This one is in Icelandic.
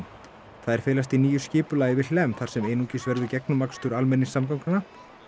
þær felast í nýju skipulagi við Hlemm þar sem einungis verður almenningssamgangna